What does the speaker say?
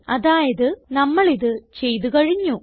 അതായത് നമ്മൾ ഇത് ചെയ്ത് കഴിഞ്ഞു